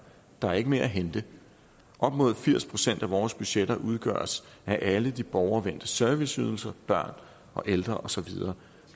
der er ikke mere at hente op mod firs procent af vores budgetter udgøres af alle de borgervendte serviceydelser børn og ældre osv